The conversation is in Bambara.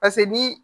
Paseke ni